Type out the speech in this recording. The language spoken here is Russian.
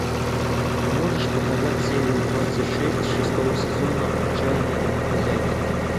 можешь показать серию двадцать шесть шестого сезона отчаянные домохозяйки